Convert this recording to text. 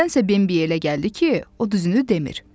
Amma nədənsə Bembi elə gəldi ki, o düzünü demir.